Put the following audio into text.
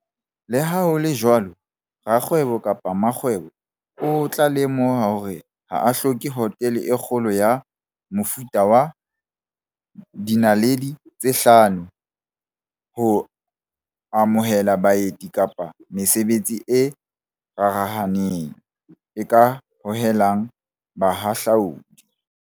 Le ha ho le jwalo, rakgwebo kapa mmakgwebo o tla lemoha hore ha o hloke hotele e kgolo ya mofuta wa five-star ho amohela baeti kapa mesebetsi e rarahaneng, e ka hohelang bahahlaodi.